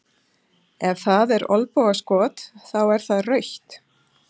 Ef það er olnbogaskot, þá er það rautt?